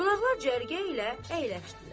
Qonaqlar cərgə ilə əyləşdilər.